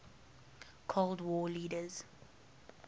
cold war leaders